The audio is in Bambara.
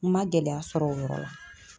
Ma gɛlɛya sɔr'ɔ yɔrɔ la.